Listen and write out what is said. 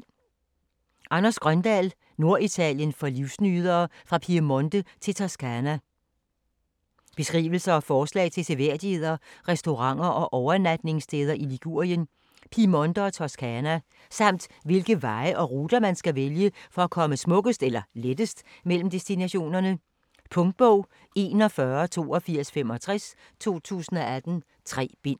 Grøndahl, Anders: Norditalien for livsnydere: fra Piemonte til Toscana Beskrivelse og forslag til seværdigheder, restauranter og overnatningssteder i Ligurien, Piemonte og Toscana. Samt hvilke veje og ruter, man skal vælge for at komme smukkest eller lettest mellem destinationerne. Punktbog 418265 2018. 3 bind.